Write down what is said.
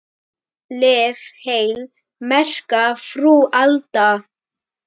Lif heil, merka frú Alda.